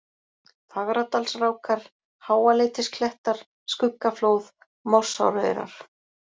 Fagradalsrákar, Háaleitisklettar, Skuggaflóð, Morsáraurar